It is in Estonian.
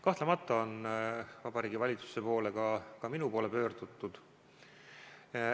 Kahtlemata on Vabariigi Valitsuse poole, ka minu poole pöördutud.